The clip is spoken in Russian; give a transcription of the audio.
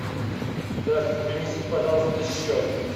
здравствуйте принесите пожалуйста счет